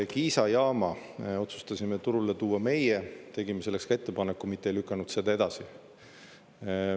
Kiisa jaama otsustasime turule tuua meie, tegime selleks ka ettepaneku, mitte ei lükanud seda edasi.